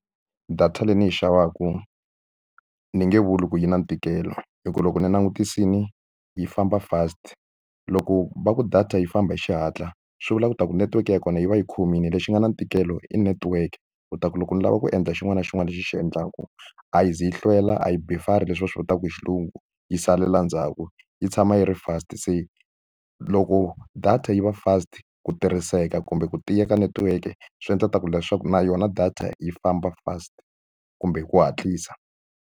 Data leyi ni yi xavaku ni nge vuli ku yi na ntikelo hikuva loko ni langutisile yi famba fast. Loko va ku data yi famba hi xihatla, swi vula leswaku network ya kona yi va yi khomile lexi nga na ntikelo i network. Leswaku loko ni lava ku endla xin'wana na xin'wana lexi ni xi endlaka, a yi ze yi hlwela, a yi buffer-ri leswi va swi vitaka hi xilungu, yi salela ndzhaku yi tshama yi ri fast. Se loko data yi va fast, ku tirhiseka kumbe ku tiya ka netiweke swi endla ku leswaku na yona data yi famba fast kumbe hi ku hatlisa.